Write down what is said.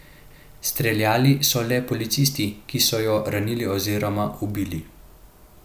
Streljali so le policisti, ki so jo ranili oziroma ubili.